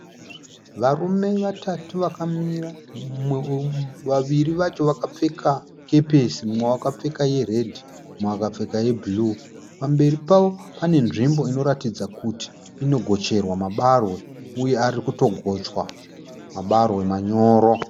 Varume vatatu vakamira. Vaviri vacho vakapfeka kepesi , mumwe akapfeka tsvuku mumwe akapfeka ye bhuruu. Pamberi pavo pane nzvimbo inoratidza kuti ino gocherwa mabarwe uye ari kutogochwa , mabarwe manyoro.